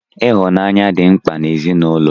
Ịhụnanya dị mkpa n'ezinụlọ.